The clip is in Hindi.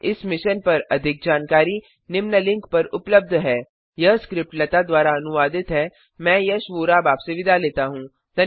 इस मिशन पर अधिक जानकारी निम्न लिंक पर उपलब्ध है httpspoken tutorialorgNMEICT Intro यह स्क्रिप्ट लता द्वारा अनुवादित है मैं यश वोरा अब आपसे विदा लेता हूँ